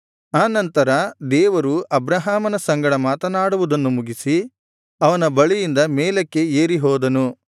ಆ ನಂತರ ದೇವರು ಅಬ್ರಹಾಮನ ಸಂಗಡ ಮಾತನಾಡುವುದನ್ನು ಮುಗಿಸಿ ಅವನ ಬಳಿಯಿಂದ ಮೇಲಕ್ಕೆ ಏರಿ ಹೋದನು